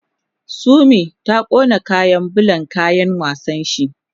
Sumi ya kona kayan bulan kayan wasan shi